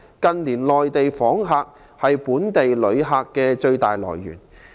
近年內地訪客是本地旅客的最大來源。